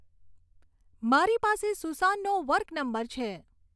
મારી પાસે સુસાનનો વર્ક નંબર છે.